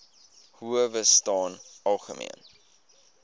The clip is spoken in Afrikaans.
howe staan algemeen